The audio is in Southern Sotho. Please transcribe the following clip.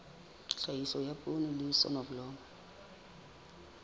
tlhahiso ya poone le soneblomo